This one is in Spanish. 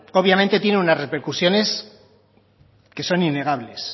obviamente tienen unas repercusiones que son innegables